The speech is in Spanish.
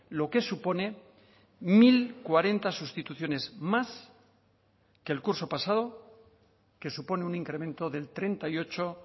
lo que supone mil cuarenta sustituciones más que el curso pasado que supone un incremento del treinta y ocho